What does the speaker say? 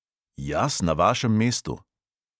Jaz na vašem mestu?